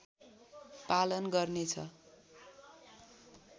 पालन गर्नेछ